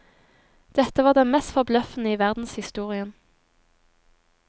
Dette var det mest forbløffende i verdenshistorien.